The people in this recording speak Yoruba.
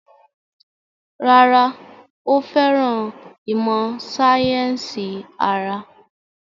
Rárá, ó fẹ́ràn ìmọ̀ sáyẹ́sì ara